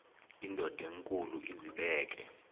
indod enkulu izibeke